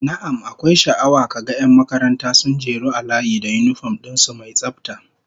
Na'am, akwai sha'awa ka ga 'yan makaranta sun jeru a layi da yinifom din su mai tsafta